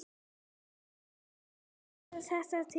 Líðandi stund er þeirra tími.